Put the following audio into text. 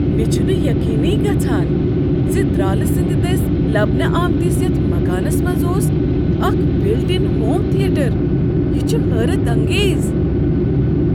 مےٚ چھُنہٕ یقینٕیے گژھان زِ درالہٕ سٕنٛدِ دٕسۍ لبنہٕ آمتس یتھ مکانس منٛز اوس اکھ بلٹ ان ہوم تھیٹر۔ یہِ چُھ حیرت انگیز۔ !